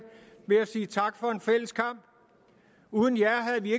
vil jeg sige tak for en fælles kamp uden jer havde vi